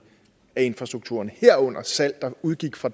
af infrastrukturen herunder salg der udgik fra